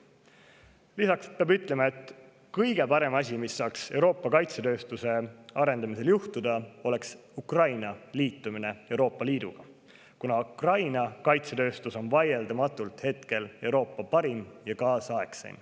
Lisaks peab ütlema, et kõige parem asi, mis saaks Euroopa kaitsetööstuse arendamisel juhtuda, on Ukraina liitumine Euroopa Liiduga, kuna Ukraina kaitsetööstus on hetkel vaieldamatult Euroopa parim ja kaasaegseim.